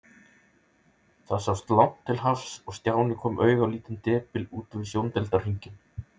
Það sást langt til hafs og Stjáni kom auga á lítinn depil úti við sjóndeildarhringinn.